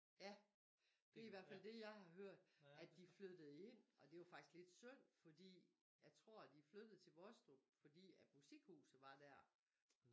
Ja det i hvert fald det jeg har hørt at de flyttede ind og det var faktisk lidt synd fordi jeg tror de flyttede til Vostrup fordi at musikhuset var dér